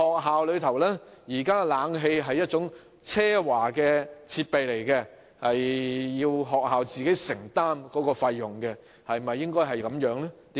此外，冷氣現時被視為奢華的學校設備，學校要自行承擔費用；情況應否如此？